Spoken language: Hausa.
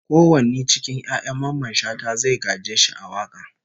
Ko wani cikin 'ya'yan Mamman Shata zai gaje shi a waka?